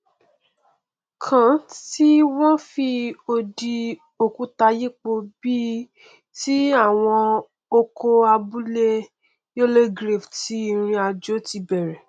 kan tí wọn fi odi òkúta yípo bí i ti àwọn oko abúlé youlegrave tí ìrìnàjò ti bẹrẹ